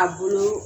A bolo